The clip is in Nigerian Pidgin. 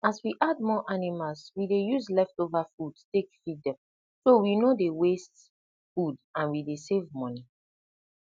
as we add more animals we dey use leftover food take feed dem so we no dey waste food and we dey save money